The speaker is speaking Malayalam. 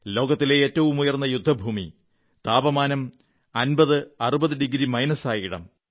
ലോകത്തിലെ ഏറ്റവുമുയർന്ന യുദ്ധഭൂമി താപമാനം 5060 ഡിഗ്രി മൈനസായ ഇടം